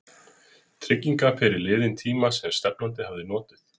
trygginga fyrir liðinn tíma sem stefnandi hafi notið?